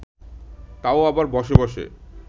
তাও আবার বসে বসে